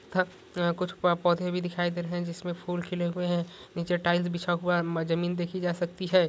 कुछ पौधे भी दिखाई दे रहे है जिसमे फूल खिले हुए है नीचे टाइल्स बिचा हुआ है म ज़मीन देखी जा सकती है।